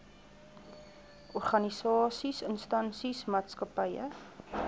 organisasies instansies maatskappye